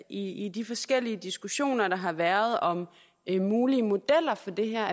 i de forskellige diskussioner der har været om mulige modeller for det her